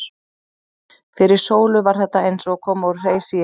Fyrir Sólu var þetta eins og að koma úr hreysi í höll.